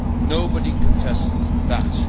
Nobody contests that.